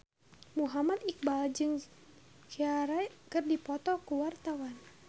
Muhammad Iqbal jeung Ciara keur dipoto ku wartawan